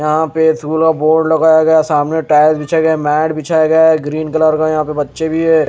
यहां पे झूला बोर्ड लगाया गया है सामने टाइल बिछाए गए मैट बिछाए गए है ग्रीन कलर का यहां पे बच्चे भी हैं।